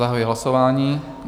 Zahajuji hlasování.